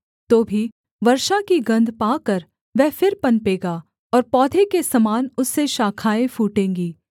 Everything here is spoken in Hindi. तो भी वर्षा की गन्ध पाकर वह फिर पनपेगा और पौधे के समान उससे शाखाएँ फूटेंगी